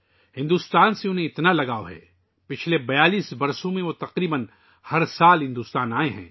انہیں بھارت سے اس قدر لگاؤ ہے کہ پچھلے 42 سالوں میں وہ تقریباً ہر سال بھارت آئے ہیں